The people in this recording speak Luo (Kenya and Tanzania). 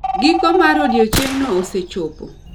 Giko mar odiechieng'no osechopo